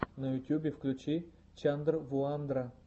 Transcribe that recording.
на ютьюбе включи чандрвуандра